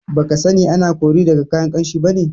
Baka sani ana kori daga kayan Ƙamshi bane?